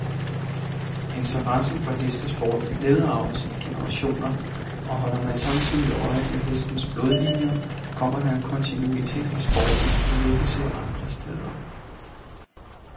Interessen for hestesport nedarves i generationer, og holder man samtidig øje med hestenes blodlinjer, kommer der en kontinuitet i sporten, man næppe ser andre steder.